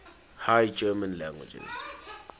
high german languages